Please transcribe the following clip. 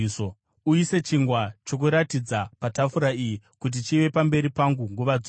Uise chingwa choKuratidza patafura iyi kuti chive pamberi pangu nguva dzose.